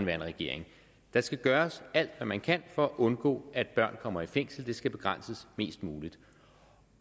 regering man skal gøre alt hvad man kan for at undgå at børn kommer i fængsel det skal begrænses mest muligt